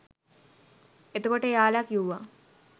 එතකොට එයාලා කිව්වා